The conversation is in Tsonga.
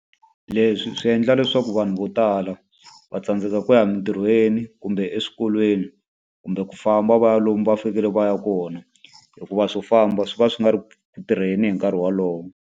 Leswi swi endla leswaku vanhu vo tala va tsandzeka ku ya entirhweni kumbe eswikolweni, kumbe ku famba va ya lomu va fanekele va ya kona. Hikuva swo famba swi va swi nga ri ku tirheni hi nkarhi wolowo.